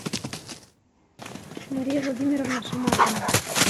мария владимировна шамардина